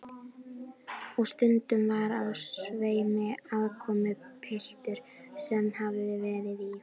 Og stundum var á sveimi aðkomupiltur sem hafði verið í